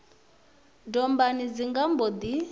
dombani dzi nga mbo ḓi